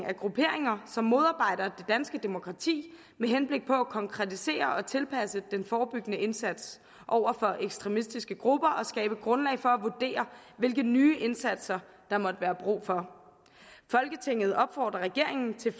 af grupperinger som modarbejder det danske demokrati med henblik på at konkretisere og tilpasse den forebyggende indsats over for ekstremistiske grupper og skabe grundlag for at vurdere hvilke nye indsatser der måtte være brug for folketinget opfordrer regeringen til